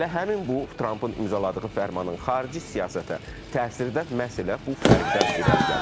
Elə həmin bu Trampın imzaladığı fərmanın xarici siyasətə təsiri də məhz elə bu fərqdən irəli gəlir.